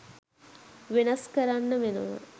වෙනස් කරන්න වෙනවා